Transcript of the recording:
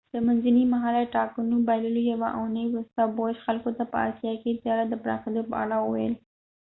د منځني مهاله ټاکنو له بایللو یوه اونۍ وروسته بوش خلکو ته په آسیا کې د تجارت د پراخیدو په اړه وویل